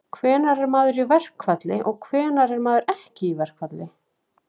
Hvenær er maður í verkfalli og hvenær er maður ekki í verkfalli?